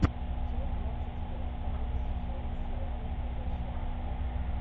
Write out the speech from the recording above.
часть двадцать пять второго сезона сериала уходящая натура